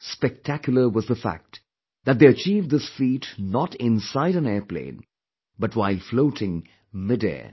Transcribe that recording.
Spectacular was the fact that they achieved this feat not inside an airplane but while floating mid air